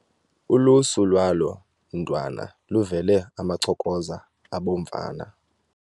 Ulusu lwalo mntwana luvele amachokoza abomvana .